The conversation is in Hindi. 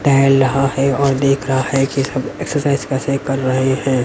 टहल रहा है और देख रहा है कि सब एक्सरसाइज कैसे कर रहे हैं।